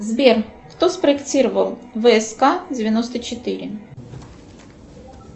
сбер кто спроектировал вск девяносто четыре